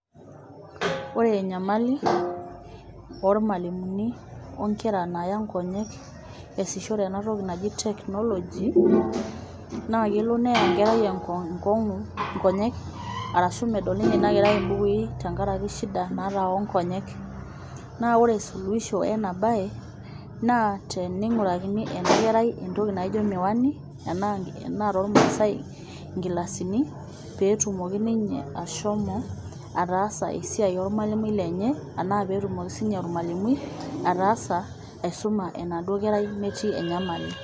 Oore enyamali ormualimuni onkera naaya inkonyek iaishore eena toki naji [cs[technology naa kelo neeya enkarai inkonyek arashu medol ninye iina kerai imbukui, tenkaraki shida naata oo nkonyek. Naa oore suluhisho eena baye, naa teneing'urakini enkerai entoki naaijo miwani, enaa tormaasae inkilasini peyie etumoki ninye ashomo ataasa esiai ormualimui lenye, enaa peyie etumoki sininye ormualimui aisuma enaduo kerai metii enyamali.